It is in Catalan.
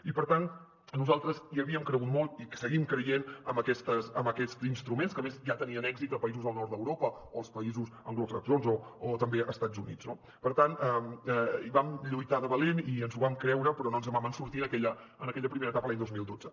i per tant nosaltres havíem cregut molt i seguim creient en aquests instruments que a més ja tenien èxit a països del nord d’europa o als països anglosaxons o també a estats units no per tant vam lluitar de valent i ens ho vam creure però no ens en vam sortir en aquella primera etapa l’any dos mil dotze